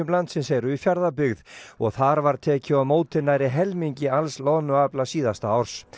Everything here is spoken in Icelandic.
landsins eru í Fjarðabyggð og þar var tekið á móti nærri helmingi alls loðnuafla síðasta árs